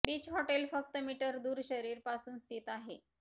beach hotel फक्त metre दूर शरीर पासून स्थित आहे